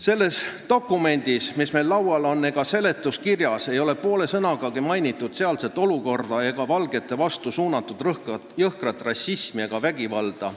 Selles dokumendis, mis meil laual on, ega seletuskirjas ei ole poole sõnagagi mainitud sealset olukorda, seda valgete vastu suunatud jõhkrat rassismi ja vägivalda.